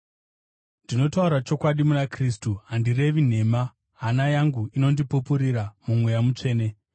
Ndinotaura chokwadi muna Kristu, handirevi nhema, hana yangu inondipupurira muMweya Mutsvene